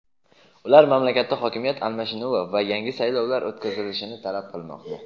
ular mamlakatda hokimiyat almashinuvi va yangi saylovlar o‘tkazilishini talab qilmoqda.